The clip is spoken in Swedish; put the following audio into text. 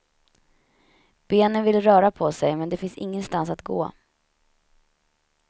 Benen vill röra på sig, men det finns ingenstans att gå.